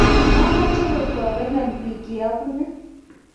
machame kotobenon biik ye abune